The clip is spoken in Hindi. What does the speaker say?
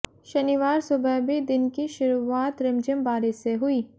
शनिवार सुबह भी दिन की शुरुआत रिमझिम बारिश से हुई